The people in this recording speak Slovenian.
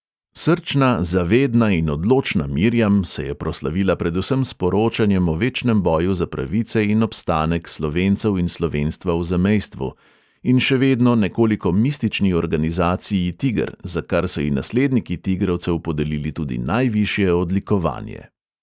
Srčna, zavedna in odločna mirjam se je proslavila predvsem s poročanjem o večnem boju za pravice in obstanek slovencev in slovenstva v zamejstvu in še vedno nekoliko mistični organizaciji tigr, za kar so ji nasledniki tigrovcev podelili tudi najvišje odlikovanje.